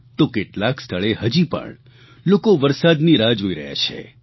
તો કેટલાક સ્થળે હજી પણ લોકો વરસાદની રાહ જોઇ રહ્યા છે